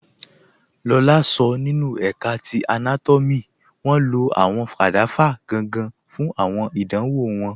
Lọlá sọ nínu ẹ̀ká ti anátọ́mì wọn ló awọn kadava gangan fun awọn àdánwọ̀ wọn